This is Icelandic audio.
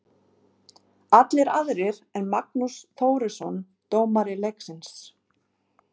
Allir aðrir en Magnús Þórisson, dómari leiksins.